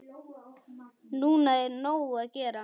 Núna er nóg að gera.